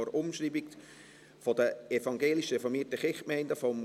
– Das ist auch nicht der Fall.